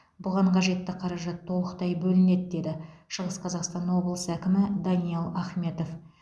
бұған қажетті қаражат толықтай бөлінеді деді шығыс қазақстан облысы әкімі даниал ахметов